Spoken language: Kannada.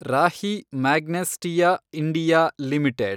Rahi Magnesita India limited